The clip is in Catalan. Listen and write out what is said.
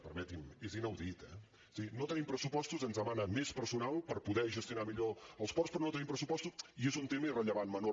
permeti’m és inaudit eh o sigui no tenim pressupostos ens demana més personal per poder gestionar millor els ports però no tenim pressupostos i és un tema irrellevant menor